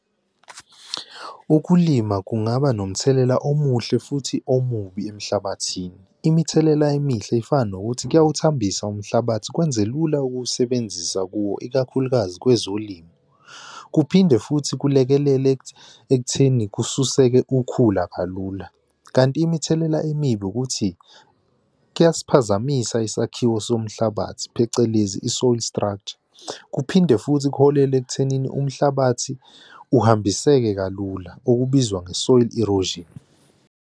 Ukulima kungaba nomthelela omuhle futhi omubi emhlabathini. Imithelela emihle ifana nokuthi kuyawuthambisa umhlabathi kwenze lula ukuwusebenzisa kuwo, ikakhulukazi kwezolimo. Kuphinde futhi kulekelela ekutheni kususeke ukhula kalula. Kanti imithelela emibi ukuthi kuyasiphazamisa isakhiwo somhlabathi phecelezi i-soil structure. Kuphinde futhi kuholele ekuthenini umhlabathi uhambiseke kalula okubizwa nge-soil erosion.